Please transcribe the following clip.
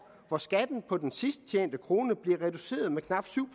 hvor skatten på den sidst tjente krone blev reduceret med knap syv